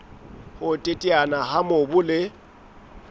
ho teteana ha mobu le